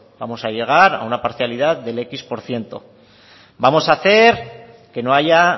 vamos a llegar a un parcialidad del equis por ciento vamos a hacer que no haya